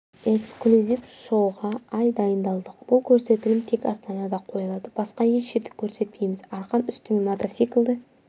эксклюзив шоуға ай дайындалдық бұл көрсетілім тек астанада қойылады басқа еш жерде көрсетпейміз арқан үстімен мотоциклді